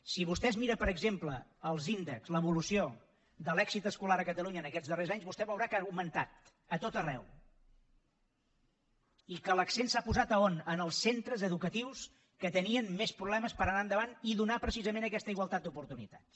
si vostè es mira per exemple els índexs l’evolució de l’èxit escolar a catalunya en aquests darrers anys vostè veurà que ha augmentat a tot arreu i que l’accent s’ha posat a on en els centres educatius que tenien més problemes per anar endavant i donar precisament aquesta igualtat d’oportunitats